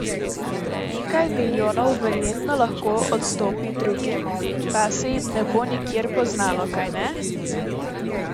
Nekaj milijonov verjetno lahko odstopi drugim, pa se ji ne bo nikjer poznalo, kajne?